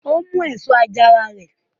Ó mú èso àjàrà rẹ?